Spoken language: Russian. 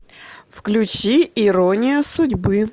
включи ирония судьбы